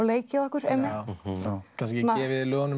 leikið okkur einmitt kannski gefið lögunum